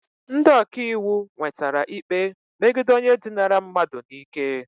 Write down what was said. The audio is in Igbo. Ndị ọka iwu nwetara ikpe megide onye dinara mmadụ n'ike